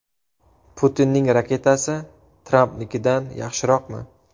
Putinning raketasi Trampnikidan yaxshiroqmi?